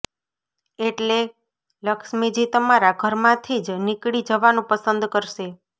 એટલે લક્ષ્મીજી તમારા ઘરમાંથી જ નીકળી જવાનું પસંદ કરશે